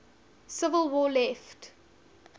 civil war left